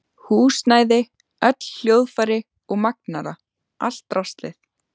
Húsnæði, öll hljóðfæri og magnara, allt draslið.